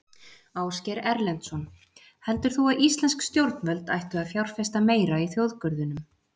Ásgeir Erlendsson: Heldur þú að íslensk stjórnvöld ættu að fjárfesta meira í þjóðgörðunum?